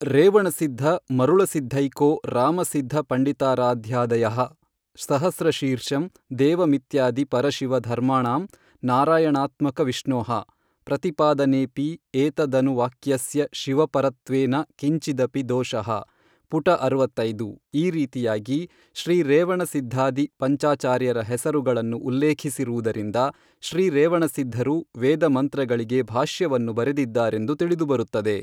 ರೇವಣಸಿದ್ಧ ಮರುಳಸಿದ್ಧೈಕೋ ರಾಮಸಿದ್ಧ ಪಂಡಿತಾರಾಧ್ಯಾದಯಃ ಸಹಸ್ರಶೀರ್ಷಂ ದೇವಮಿತ್ಯಾದಿ ಪರಶಿವ ಧರ್ಮಾಣಂ ನಾರಾಯಣಾತ್ಮಕವಿಷ್ಣೋಃ ಪ್ರತಿಪಾದನೇಪಿ ಏತದನುವಾಕ್ಯಸ್ಯ ಶಿವಪರತ್ವೇನ ಕಿಂಚಿದಪಿ ದೋಷಃ ಪುಟ ಅರವತ್ತೈದು ಈ ರೀತಿಯಾಗಿ ಶ್ರೀರೇವಣಸಿದ್ಧಾದಿ ಪಂಚಾಚಾರ್ಯರ ಹೆಸರುಗಳನ್ನು ಉಲ್ಲೇಖಿಸಿರುವುದರಿಂದ ಶ್ರೀ ರೇವಣಸಿದ್ಧರು ವೇದಮಂತ್ರಗಳಿಗೆ ಭಾಷ್ಯವನ್ನು ಬರೆದಿದ್ದಾರೆಂದು ತಿಳಿದುಬರುತ್ತದೆ.